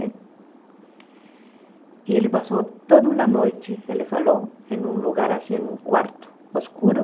E ele passou toda uma noite, ele falou, em um lugar assim, em um quarto, escuro.